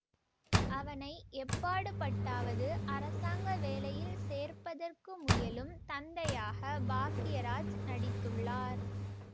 அவனை எப்பாடுபட்டாவது அரசாங்க வேலையில் சேர்ப்பதற்கு முயலும் தந்தையாக பாக்கியராஜ் நடித்துள்ளார்